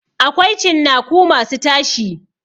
Akwai cinnaku masu tashi.